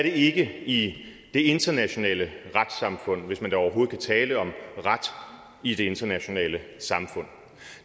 i det internationale retssamfund hvis man da overhovedet kan tale om ret i det internationale samfund